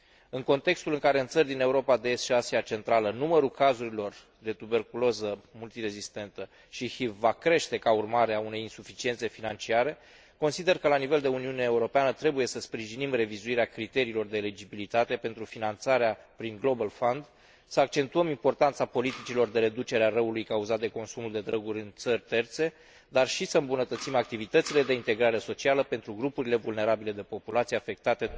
În contextul în care în țările din Europa de Est și Asia Centrală numărul cazurilor de tuberculoză multirezistentă și HIV va crește ca urmare a unei insuficiențe financiare, consider că la nivel de Uniune Europeană trebuie să sprijinim revizuirea criteriilor de eligibilitate pentru finanțarea prin Fondul Global, să accentuăm importanța politicilor de reducere a răului cauzat de consumul de droguri în țări terțe, dar și să îmbunătățim activitățile de integrare socială pentru grupurile vulnerabile de populație afectate.